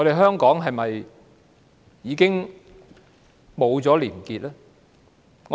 香港是否已經失去了廉潔？